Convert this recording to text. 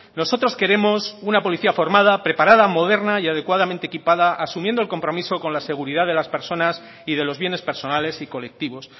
nosotros queremos una policía formada preparada moderna y adecuadamente equipada asumiendo el compromiso con la seguridad de las personas y de los bienes personales y colectivos